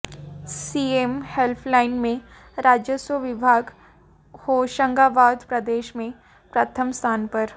CM helpline में राजस्व विभाग होशंगाबाद प्रदेश में प्रथम स्थान पर